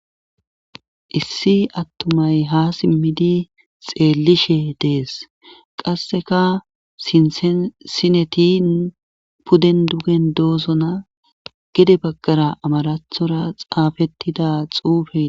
Issi attumay ha simmidi xeellishe dees qasseka sinethen sinetin pudden dugen doosona gede baggara amarathora xaafettida xuufe